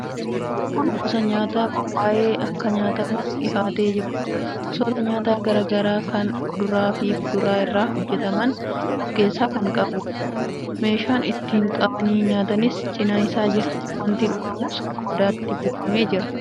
Kun gosa nyaataa qophaa'ee akka nyaatamuuf dhihaatee jirudha. Gosoota nyaataa garaa garaa kan kuduraa fi muduraa irraa hojjetaman of keessaa kan qabudha. Meeshaan ittiin qabanii nyaataniis cina isaa jira. Wanti dhugamus qodaatti buufamee jira.